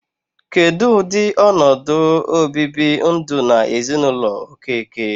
Kedụ ụdị ọnọdụ o bibi ndụ n'ezinụlọ Okeke?